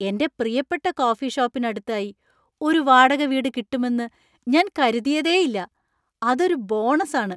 എന്‍റെ പ്രിയപ്പെട്ട കോഫി ഷോപ്പിന് അടുത്തായി ഒരു വാടക വീട് കിട്ടുമെന്ന് ഞാൻ കരുതിയേയില്ല. അതൊരു ബോണസ് ആണ്!